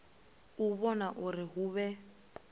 u vhona uri hu vhe